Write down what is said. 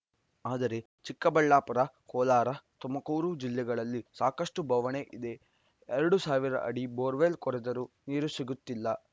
ಆದರೆ ಚಿಕ್ಕಬಳ್ಳಾಪುರ ಕೋಲಾರ ತುಮಕೂರು ಜಿಲ್ಲೆಗಳಲ್ಲಿ ಸಾಕಷ್ಟುಬವಣೆ ಇದೆ ಎರಡು ಸಾವಿರ ಅಡಿ ಬೋರ್‌ವೆಲ್‌ ಕೊರೆದರೂ ನೀರು ಸಿಗುತ್ತಿಲ್ಲ